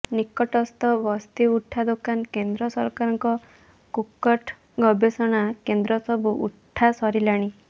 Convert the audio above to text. ନିକଟସ୍ଥ ବସ୍ତି ଉଠା ଦୋକାନ କେନ୍ଦ୍ର ସରକାରଙ୍କ କୁକଟ ଗବେଷଣା କେନ୍ଦ୍ର ସବୁ ଉଠାସରିଲାଣି